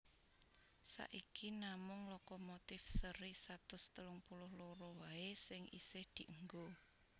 Saiki namung lokomotif séri satus telung puluh loro waé sing isih dienggo